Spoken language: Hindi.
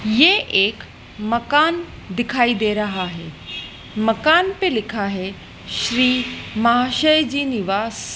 ये एक मकान दिखाई दे रहा है मकान पे लिखा है श्री महाशय जी निवास --